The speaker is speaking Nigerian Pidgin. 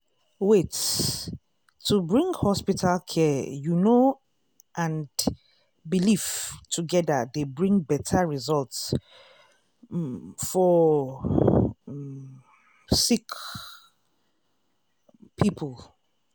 wait- to bring hospital care you know and belief togeda dey bring beta result um for um sick um poeple.